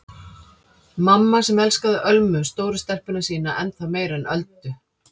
Mamma sem elskaði Ölmu stóru stelpuna sína ennþá meira en Öldu.